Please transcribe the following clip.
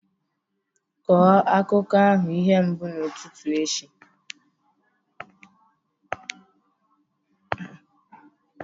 Kọọ akụkọ ahụ ihe mbụ n'ụtụtụ echi!